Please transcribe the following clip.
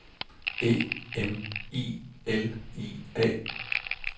E M I L I A